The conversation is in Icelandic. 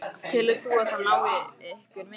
Telur þú að það hái ykkur mikið?